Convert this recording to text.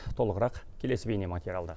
толығырақ келесі бейнематериалда